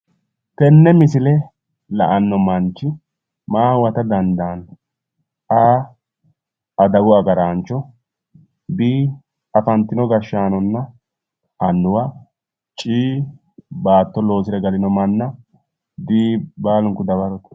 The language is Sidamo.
tenne misile la'anno manchi maa huwata dandaanno? a/adawu agaraancho b/afantino gashshaanona annuwa c/baatto loosire galino manna d/baalunku dawarote